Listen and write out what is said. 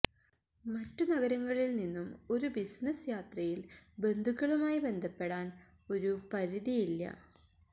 മറ്റു നഗരങ്ങളിൽ നിന്നും ഒരു ബിസിനസ് യാത്രയിൽ ബന്ധുക്കളുമായി ബന്ധപ്പെടാൻ ഒപെരതിവെല്യ്